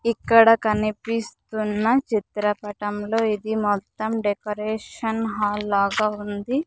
ఇక్కడ కనిపిస్తున్న చిత్రపటంలో ఇది మొత్తం డెకరేషన్ హాల్ లాగా ఉంది.